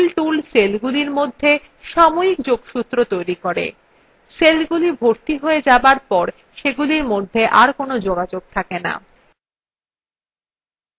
সবকটি ক্ষেত্রেই fill tool সেলগুলির মধ্যে সাময়িক যোগসূত্র তৈরী করে সেলগুলি ভর্তি হয়ে যাবার পর সেগুলির মধ্যে are কোনো যোগাযোগ থাকে no